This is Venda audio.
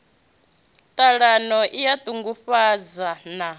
ṱhalano i a ṱungufhadza na